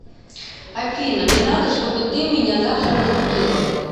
афина мне надо что бы ты меня завтра разбудила